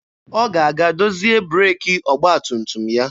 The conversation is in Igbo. Ọ ga-aga dozie breeki ọgba tum tum ya.